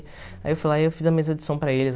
Aí eu fui lá e eu fiz a mesa de som para eles.